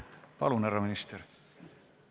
Palun, härra minister!